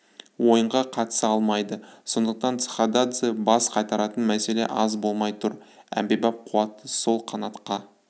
ойынға қатыса алмайды сондықтан цхададзе бас қатыратын мәселе аз болмай тұр әмбебап қуатты сол қанатқа